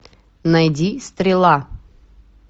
найди стрела